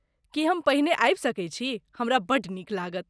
की हम पहिने आबि सकैत छी? हमरा बड्ड नीक लागत।